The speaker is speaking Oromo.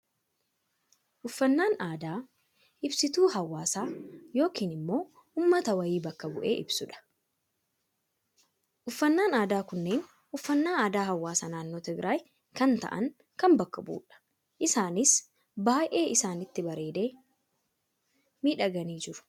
Uffannaan aadaa, ibsituu hawaasa yookaan immoo uummata , wayii bakka bu'ee ibsudha. Uffannaan aadaa kunneen uffannaa aadaa hawaasa naannoo Tigraayi kan ta'an bakka kan bu'udha. Isaanis baayyee isaanitti bareedee, miidhaganii jiru.